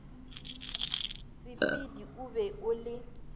sepedi o be o le